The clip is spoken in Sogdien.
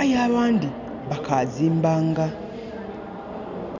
aye aghandi bakazimbanga